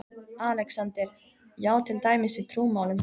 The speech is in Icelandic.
ALEXANDER: Já, til dæmis í trúmálum?